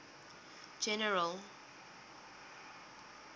general